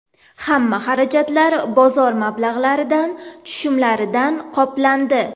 Hamma xarajatlar bozor mablag‘laridan, tushumlaridan qoplandi.